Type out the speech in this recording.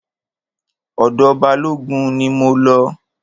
Ọ̀dọ̀ Balógun ni mo lọ.